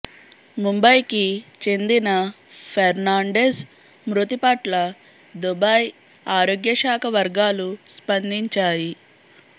ముంబైకి చెందిన ఫెర్నాండెజ్ మృతి పట్ల దుబాయ్ ఆరోగ్య శాఖ వర్గాలు స్పందించాయి